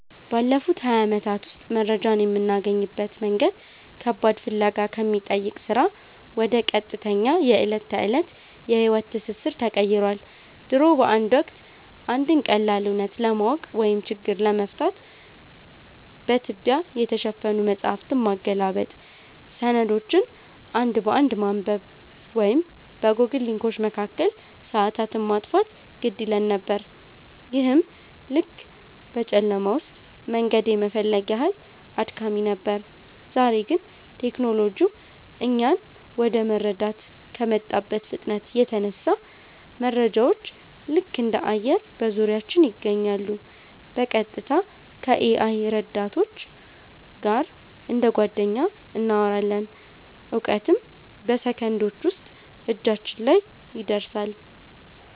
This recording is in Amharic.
ባለፉት ሃያ ዓመታት ውስጥ መረጃን የምናገኝበት መንገድ ከባድ ፍለጋ ከሚጠይቅ ሥራ ወደ ቀጥተኛ የዕለት ተዕለት የሕይወት ትስስር ተቀይሯል። ድሮ በአንድ ወቅት፣ አንድን ቀላል እውነት ለማወቅ ወይም ችግር ለመፍታት በትቢያ የተሸፈኑ መጻሕፍትን ማገላበጥ፣ ሰነዶችን አንድ በአንድ ማንበብ ወይም በጎግል ሊንኮች መካከል ሰዓታትን ማጥፋት ግድ ይለን ነበር፤ ይህም ልክ በጨለማ ውስጥ መንገድ የመፈለግ ያህል አድካሚ ነበር። ዛሬ ግን ቴክኖሎጂው እኛን ወደ መረዳት ከመጣበት ፍጥነት የተነሳ፣ መረጃዎች ልክ እንደ አየር በዙሪያችን ይገኛሉ—በቀጥታ ከ-AI ረዳቶች ጋር እንደ ጓደኛ እናወራለን፣ እውቀትም በሰከንዶች ውስጥ እጃችን ላይ ይደርሳል።